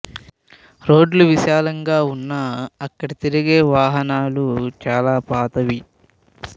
రోడ్లు విశాలంగా వున్నా అక్కడ తిరిగే వాహనాలు చాల పాతవి